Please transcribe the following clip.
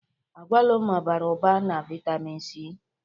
Agwalumo bara ụba na vitamịn Si.